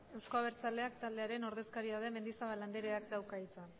eusko abertzaleak taldearen ordezkaria den mendizabal andereak dauka hitza